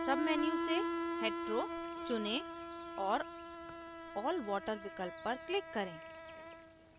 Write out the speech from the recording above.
submenu से hetero चुनें और all water विकल्प पर click करें